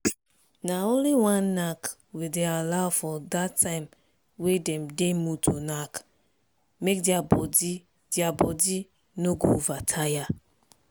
naonly one knack we day allow for that time way them day mood to knack make their make their body no go over tire.